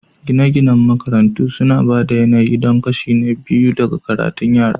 Gine-ginen makarantun suna ba da yanayi don kashi na biyu na karatun yara